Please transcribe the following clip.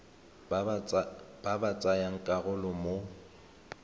ba ba tsayang karolo mo